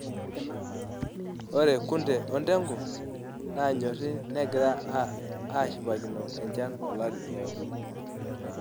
Ore kunde o ndegu naanyori negira aashipakino enchan olari oodo.